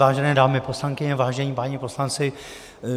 Vážené dámy poslankyně, vážení páni poslanci.